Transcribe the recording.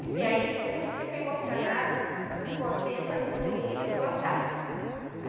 Até aí, eu não sei se eu fiquei emocionada, muito contente, falei muito bonito, eles gostaram.